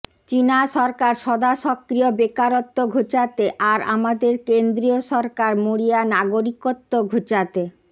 চিনা সরকার সদাসক্রিয় বেকারত্ব ঘোচাতে আর আমাদের কেন্দ্রীয় সরকার মরিয়া নাগরিকত্ব ঘোচাতে